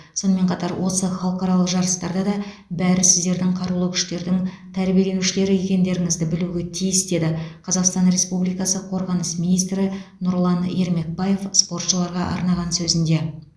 сонымен қатар осы халықаралық жарыстарда да бәрі сіздердің қарулы күштердің тәрбиеленушілері екендеріңізді білуге тиіс деді қазақстан республикасы қорғаныс министрі нұрлан ермекбаев спортшыларға арнаған сөзінде